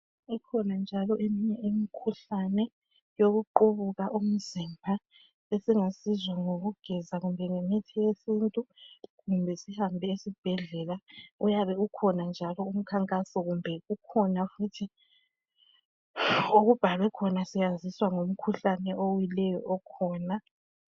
Ikhona njalo eminye imikhuhlane yokuqubuka umzimba esingasizwa yikugeza loba imithi yesintu kumbe sihambe esibhedlela. Uyabe ukhona umkhankaso kumbe kukhona futhi okubhalwe khona siyaziswa ngomkhuhlane owileyo okhona.